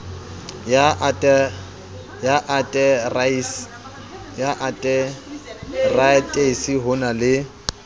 ya ateraetisi ho na le